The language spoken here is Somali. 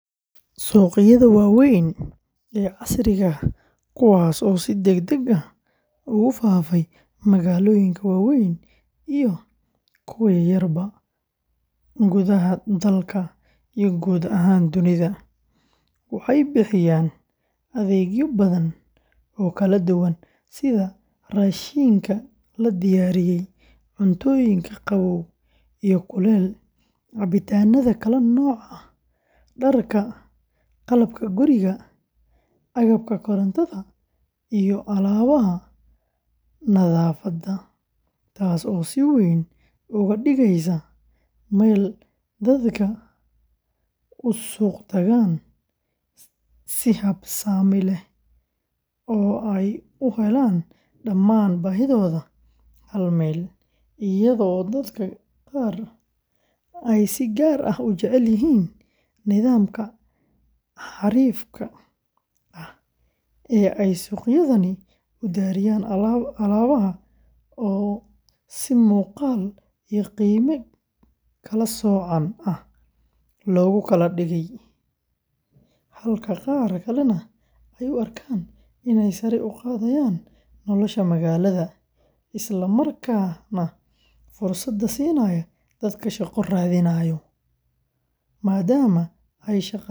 Suuqyada waaweyn ee casriga ah, kuwaas oo si degdeg ah ugu faafay magaalooyinka waaweyn iyo kuwa yaryarba gudaha Soomaaliya iyo guud ahaan dunida, waxay bixiyaan adeegyo badan oo kala duwan sida raashinka la diyaariyey, cuntooyinka qabow iyo kulul, cabitaanada kala nooca ah, dharka, qalabka guriga, agabka korontada, iyo alaabaha nadaafadda, taasoo si weyn uga dhigeysa meel dadka u suuq gataan si habsami leh oo ay u helaan dhammaan baahidooda hal meel, iyadoo dadka qaar ay si gaar ah u jecel yihiin nidaamka xariifka ah ee ay suuqyadani u diyaariyaan alaabaha oo si muuqaal iyo qiime kala soocan ah loogu kala dhigay, halka qaar kalena ay u arkaan inay sare u qaadayaan nolosha magaalada, isla markaana fursad siinayaan dadka shaqo raadinaya, maadaama ay shaqaaleysiin badan sameeyaan.